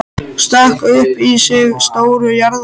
Stakk upp í sig stóru jarðarberi.